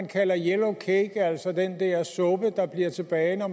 kaldes yellow cake altså den suppe der bliver tilbage når